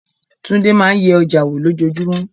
Tunde máa ń yẹ ọjà wò lójoojúmọ́.